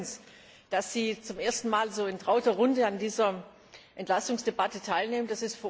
Wir freuen uns, dass Sie zum ersten Mal so in trauter Runde an dieser Entlastungsdebatte teilnehmen.